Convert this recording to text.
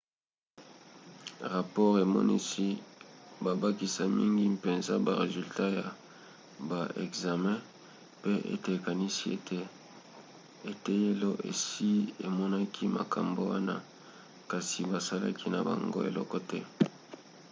rapore emonisi babakisa mingi mpenza ba resultat ya ba ekzame pe ete ekanisi ete eteyelo esi emonaki makambo wana kasi basalaki na bango eloko te